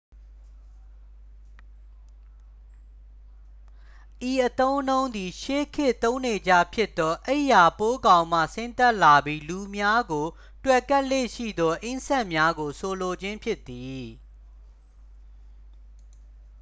ဤအသုံးအနှုန်းသည် ရှေးခေတ်သုံးနေကျဖြစ်သော အိပ်ယာပိုးကောင်မှ ဆင်းသက်လာပြီး လူများကို တွယ်ကပ်လေ့ရှိသော အင်းဆက်များကို ဆိုလိုခြင်းဖြစ်သည်